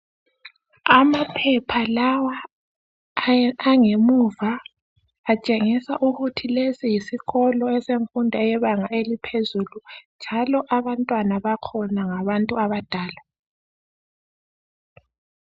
Amaphepha lawa angemuva atshengisa ukuthi lesi yisikolo esemfundo eyebanga eliphezulu njalo abantwana bakhona ngabantu abadala.